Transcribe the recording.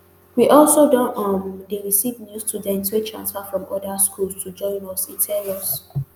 we also don um dey receive new students wey transfer from oda schools to join us e tell us